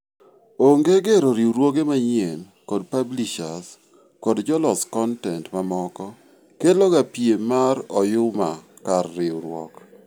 Onge gero riuruoge manyieny kod publishers kod jolos kontent mamoko keloga piem mar oyuma kar riuruok.